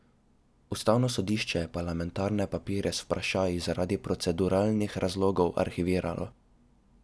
Ustavno sodišče je parlamentarne papirje z vprašaji zaradi proceduralnih razlogov arhiviralo.